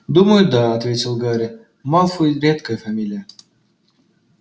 думаю да ответил гарри малфой редкая фамилия